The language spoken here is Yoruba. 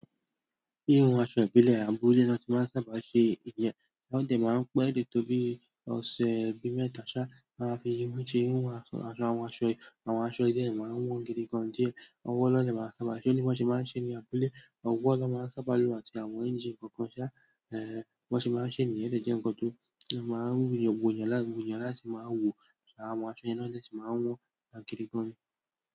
Ihun aṣọ ìbílẹ̀ àbúle ni wọ́n ti máa ń sábà ṣe ìyen. Wọ́n dẹ̀ máa ń pẹ́ dè tó bí ọ̀sẹ̀ bí mẹ́ta ṣá, ni won ma fi mú tí hu àwọn aṣọ yìí. Àwọn aṣọ yìí de máa n wọ́n gidigan díẹ̀. Ọwọ́ ni won de máa fi maa ṣé, bí wọ́n se máa ń ṣe ní abúlé. Ọwọ́ ló máa ń sábà lo àti àwọn ẹ́ńjínì kọ̀ọ̀kan ṣá, eh, bi wọ́n se máa ń ṣe ní yen. O de jẹ́ ńkan tó máa ń wò yàn lá, wò yàn látì máa wò kí àwọn aṣọ yẹn na dè sì máa wọ́n gidigan.